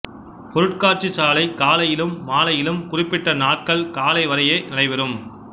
பொருட்காட்சி சாலை காலையிலும்மாலையிலும் குறுப்பிட்ட நாட்கள் கால அளவு வரையே நடைபெறும்